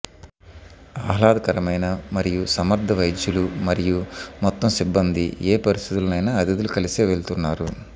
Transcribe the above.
ఆహ్లాదకరమైన మరియు సమర్థ వైద్యులు మరియు మొత్తం సిబ్బంది ఏ పరిస్థితిలో అతిథులు కలిసే వెళ్తున్నారు